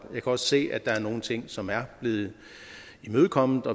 kan også se at der er nogle ting som er blevet imødekommet